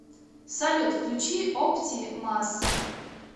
салют включи опти мас